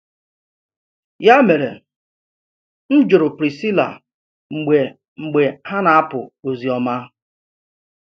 Ya mere, m jụrụ Priscilla mgbe mgbe ha na-apụ ozioma.